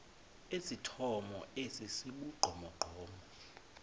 esithomo esi sibugqomogqomo